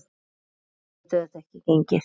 Svona getur þetta ekki gengið.